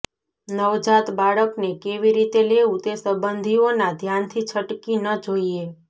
નવજાત બાળકને કેવી રીતે લેવું તે સંબંધીઓના ધ્યાનથી છટકી ન જોઈએ